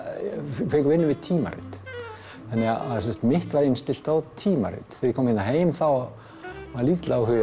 fengu vinnu við tímarit þannig að mitt var innstillt á tímarit þegar ég kom hérna heim var lítill áhugi